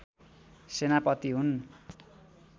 सेनापति हुन्